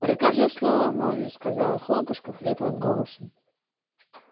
прикажи слово молвить сказала хлопушка хриплым голосом